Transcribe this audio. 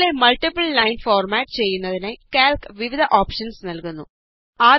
ടെക്സ്റ്റിലെ multiple lines format ചെയ്യുന്നതിനായി Calc വിവിധ options നല്കുന്നു